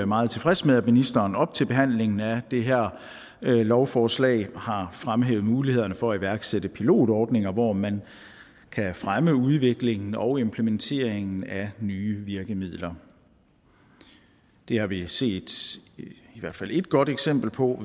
meget tilfreds med at ministeren op til behandlingen af det her lovforslag har fremhævet mulighederne for at iværksætte pilotordninger hvor man kan fremme udviklingen og implementeringen af nye virkemidler det har vi set i hvert fald ét godt eksempel på